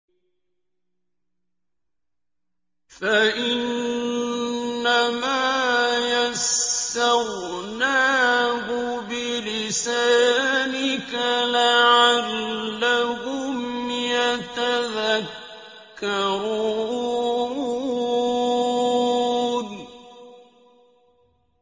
فَإِنَّمَا يَسَّرْنَاهُ بِلِسَانِكَ لَعَلَّهُمْ يَتَذَكَّرُونَ